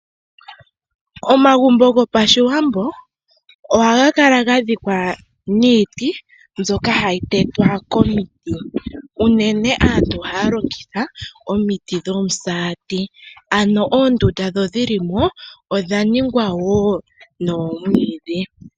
Omagumbo gOpashiwambo ohaga kala gadhikwa niiti mbyoka hayi tetwa komiti, unene aantu ohaya longitha omiti dhomisati. Ano oondunda ndho dhilimo odha ningwa noomwiidhi.